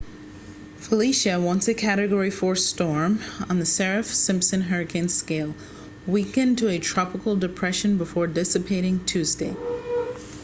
felicia once a category 4 storm on the saffir-simpson hurricane scale weakened to a tropical depression before dissipating tuesday